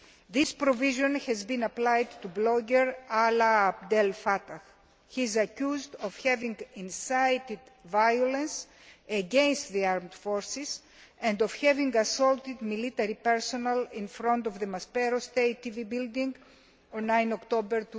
This provision has been applied to blogger Alaa Abdel Fatah, who is accused of having incited violence against the armed forces and of having assaulted military personnel in front of the Maspero State TV building on 9 October